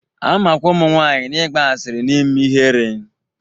A makwa ụmụnwaanyị na-ịgba asịrị na ime ihere.